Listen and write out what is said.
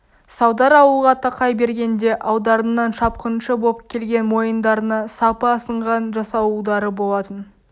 салдар ауылға тақай бергенде алдарынан шапқыншы боп келген мойындарына сапы асынған жасауылдары болатын